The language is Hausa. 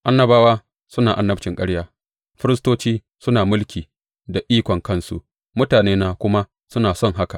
Annabawa suna annabcin ƙarya, firistoci suna mulki da ikon kansu, mutanena kuma suna son haka.